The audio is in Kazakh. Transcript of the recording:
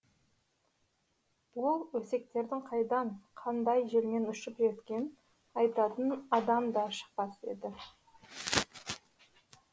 ол өсектердің қайдан қандай желмен ұшып жеткен айтатын адам да шықпас еді